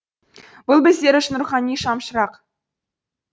бұл біздер үшін рухани шамшырақ